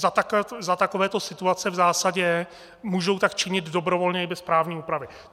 Za takovéto situace v zásadě můžou tak činit dobrovolně i bez právní úpravy.